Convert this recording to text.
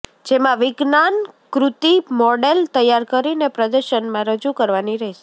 જેમા વિજ્ઞાાનકૃતિ મોડેલ તૈયાર કરીને પ્રદર્શનમા રજૂ કરવાની રહેશે